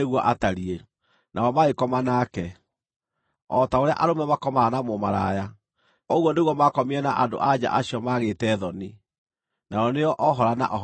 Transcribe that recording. Nao magĩkoma nake. O ta ũrĩa arũme makomaga na mũmaraya, ũguo nĩguo maakomire na andũ-a-nja acio maagĩte thoni, nao nĩo Ohola na Oholiba.